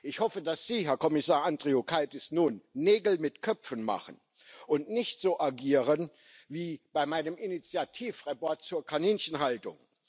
Ich hoffe, dass Sie, Herr Kommissar Andriukaitis, nun Nägel mit Köpfen machen und nicht so agieren wie bei meinem Initiativbericht zur Kaninchenhaltung.